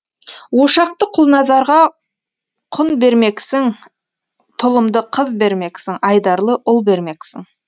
ошақты құлназарға құн бермексің тұлымды қыз бермексің айдарлы ұл бермексің